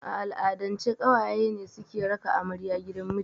A al'adance ƙawaye ne suke raka amarya gidan mijinta